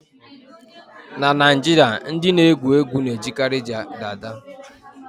. Na Naijiria, ndị na-egwu egwu na-ejikarị dada